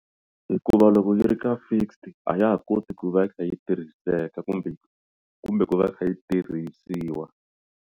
Hikuva loko yi ri ka fixed a ya ha koti ku va yi kha yi tirhiseka kumbe kumbe ku va yi kha yi tirhisiwa.